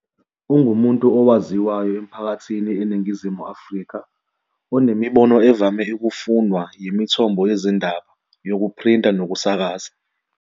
Ungumuntu owaziwayo emphakathini eNingizimu Afrika onemibono evame ukufunwa yimithombo yezindaba yokuphrinta nokusakaza.